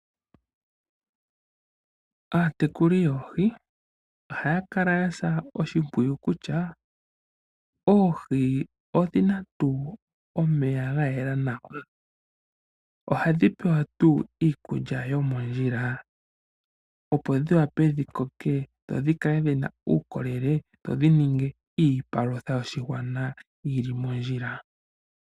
Aatekuli yoohi ohaya kala yasa oshimpwiyu kutya oohi odhina tuu omeya ga yela nawa, ohadhi pewa tuu iikulya yomondjila opo dhi wape dhi koke dho dhi kale dhina uukolele, dho dhi ninge iipalutha yoshigwana yili mondjila.